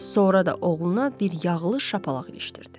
Sonra da oğluna bir yağlı şapalaq ilişdirdi.